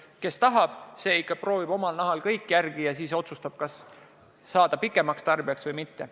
Kes tahab, see ikka proovib omal nahal kõik järele ja siis otsustab, kas hakata püsitarbijaks või mitte.